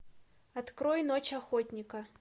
открой ночь охотника